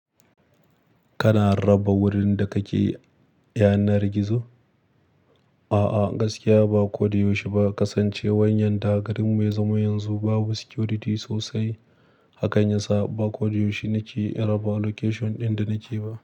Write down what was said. Kana raba wurin da kake yanar gizo? A'a, gaskiya ba ko da yaushe ba. Kasancewar yanda garin mu ya zama yanzu babu security sosai, hakan yasa ba ko da yaushe nake raba location ɗin da nake ba.